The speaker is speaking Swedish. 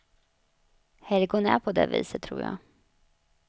Helgon är på det viset, tror jag.